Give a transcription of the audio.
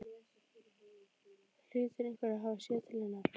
Það hlýtur einhver að hafa séð til hennar.